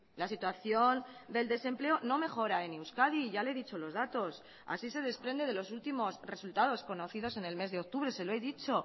la situación del desempleo no mejora en euskadi ya le he dicho los datos así se desprende de los últimos resultados conocidos en el mes de octubre se lo he dicho